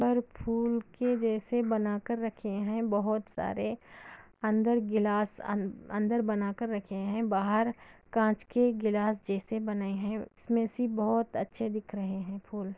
और फूलों के जैसे बनाकर रखें हैं बहुत सारे अंदर गिलास अंदर बनाकर रखे हैं बाहर कांच के गिलास जैसे बने हैं |इसमें से बहुत अच्छे दिख रहे हैं .